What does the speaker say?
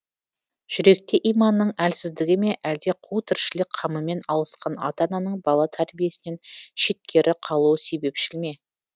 жүректе иманның әлсіздігі ме әлде қу тіршілік қамымен алысқан ата ананың бала тәрбиесінен шеткері қалуы себепшіл ме